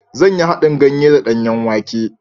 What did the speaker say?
Zan yi haɗin ganye da danyen wake.